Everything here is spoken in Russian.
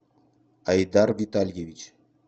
айдар витальевич